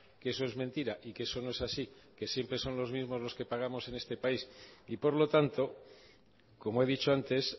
que eso es mentira y que eso no es así que siempre son los mismos los que pagamos en este país y por lo tanto como he dicho antes